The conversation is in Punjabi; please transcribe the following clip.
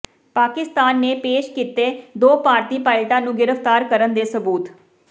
ਪਾਕਿਸਤਾਨ ਨੇ ਪੇਸ਼ ਕੀਤੇ ਦੋ ਭਾਰਤੀ ਪਾਇਲਟਾਂ ਨੂੰ ਗ੍ਰਿਫ਼ਤਾਰ ਕਰਨ ਦੇ ਸਬੂਤ